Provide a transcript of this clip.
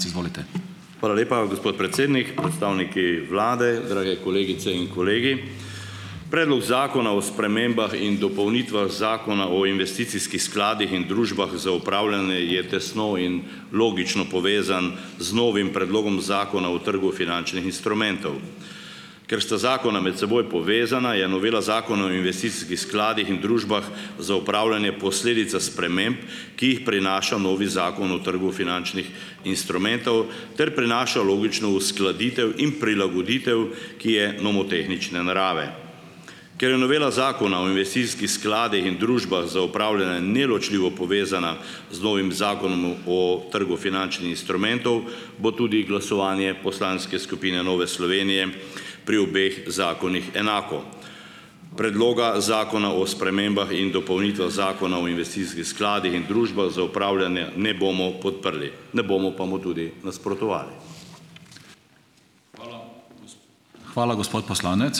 Hvala lepa, gospod predsednik. Predstavniki Vlade, drage kolegice in kolegi! Predlog Zakona o spremembah in dopolnitvah Zakona o investicijskih skladih in družbah za upravljanje je tesno in logično povezan z novim Predlogom Zakona o trgu finančnih instrumentov. Ker sta zakona med seboj povezana je novela Zakona o investicijskih skladih in družbah za upravljanje posledica sprememb, ki jih prinaša novi Zakon o trgu finančnih instrumentov, ter prinaša logično uskladitev in prilagoditev, ki je nomotehnične narave. Ker je Novela Zakona o investicijskih skladih in družbah za upravljanje neločljivo povezana z novim Zakonom o trgu finančnih instrumentov bo tudi glasovanje poslanske skupine Nove Slovenije pri obeh zakonih enako. Predloga Zakona o spremembah in dopolnitvah Zakona o investicijskih skladih in družbah za upravljanje ne bomo podprli ne bomo pa mu tudi nasprotovali.